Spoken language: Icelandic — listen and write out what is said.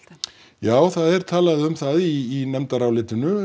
já það er talað um það í nefndarálitinu